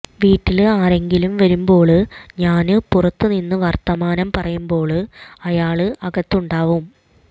വീട്ടില് ആരെങ്കിലും വരുമ്പോള് ഞാന് പുറത്തു നിന്ന് വര്ത്തമാനം പറയുമ്പോള് അയാള് അകത്തുണ്ടാവും